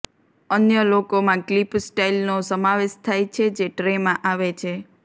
અન્ય લોકોમાં ક્લિપ સ્ટાઇલનો સમાવેશ થાય છે જે ટ્રેમાં આવે છે